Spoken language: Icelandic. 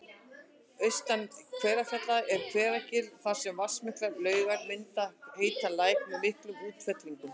Austan Kverkfjalla er Hveragil þar sem vatnsmiklar laugar mynda heitan læk með miklum útfellingum